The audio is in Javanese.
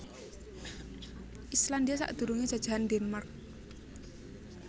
Islandia sadurungé jajahan Denmark